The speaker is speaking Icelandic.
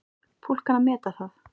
Fólk kann að meta það.